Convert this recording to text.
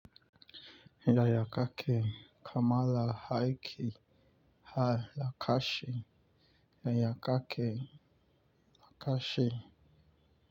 Yaya kake kamala Haiki ha Lakashi yaya kake Lakashi.